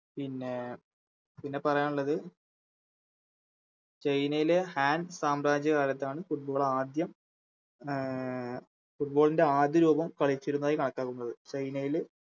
പിന്നെ പിന്നെപ്പറയാനുള്ളത് ചൈനയിലെ ഹാൻഡ് സാംബ്രാജ്യകാലത്താണ് Football ആദ്യം അഹ് Football ൻറെ ആദ്യരൂപം കളിച്ചിരുന്നതായി കണക്കാക്കുന്നത്